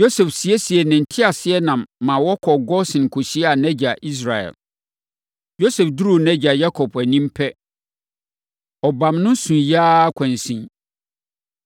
Yosef siesiee ne nteaseɛnam ma wɔkɔɔ Gosen kɔhyiaa nʼagya Israel. Yosef duruu nʼagya Yakob anim pɛ, ɔbam no, suiɛ ara kwansin.